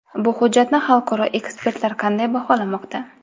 Bu hujjatni xalqaro ekspertlar qanday baholamoqda?